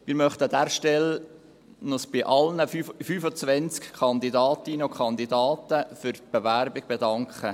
Wir möchten uns an dieser Stelle bei allen 25 Kandidatinnen und Kandidaten für die Bewerbung bedanken.